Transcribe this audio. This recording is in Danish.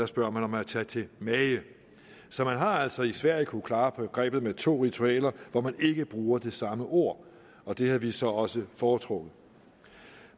spørger om at tage til mage så man har altså i sverige kunnet klare grebet med to ritualer hvor man ikke bruger det samme ord og det havde vi så også foretrukket